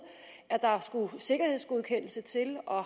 at der skulle en sikkerhedsgodkendelse til og